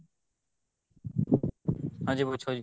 ਹਾਂਜੀ ਪੁੱਛੋ ਜੀ